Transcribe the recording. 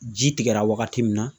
Ji tigɛra wagati min na